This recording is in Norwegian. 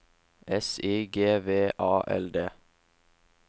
S I G V A L D